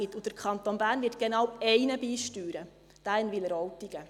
Dazu wird der Kanton Bern genau einen beisteuern – denjenigen in Wileroltigen.